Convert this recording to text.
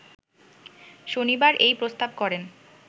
শনিবার এই প্রস্তাব করেন